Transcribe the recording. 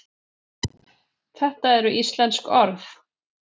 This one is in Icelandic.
þetta eru íslensk orð